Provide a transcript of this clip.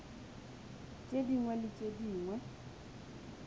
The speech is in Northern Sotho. tše dingwe le tše dingwe